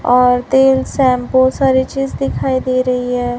और तेल शैंपू सारी चीज दिखाई दे रही है।